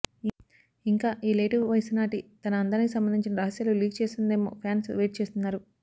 ఇంకా ఈ లేటు వయసు నాటీ తన అందానికి సంబంధించిన రహస్యాలు లీక్ చేస్తుందేమో ఫ్యాన్స్ వెయిట్ చేస్తున్నారు